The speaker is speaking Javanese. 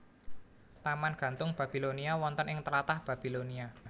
Taman Gantung Babilonia wonten ing tlatah Babilonia